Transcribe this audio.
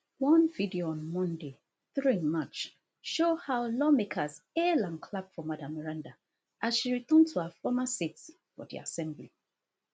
one video on monday three march show how lawmakers hail and clap for madam meranda as she return to her former seat for di assembly